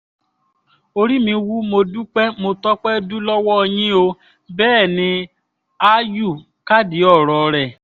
orí mi wú mo dúpẹ́ mo tọ́pẹ́ dù lọ́wọ́ yín o bẹ́ẹ̀ ni áyù kádìí ọ̀rọ̀ rẹ̀